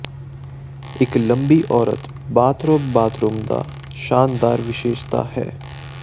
ਇੱਕ ਲੰਬੀ ਔਰਤ ਬਾਥਰੋਬ ਬਾਥਰੂਮ ਦਾ ਸ਼ਾਨਦਾਰ ਵਿਸ਼ੇਸ਼ਤਾ ਹੈ